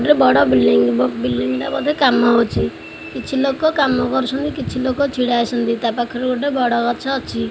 ଗୋଟେ ବଡ଼ building building ଟା ବୋଧେ କାମ ହୋଇଚି କିଛି ଲୋକ କାମ କରୁଛନ୍ତି କିଛି ଲୋକ ଛିଡ଼ା ହୋଇଛନ୍ତି ତା ପାଖରେ ଗୋଟେ ବରଗଛ ଅଛି।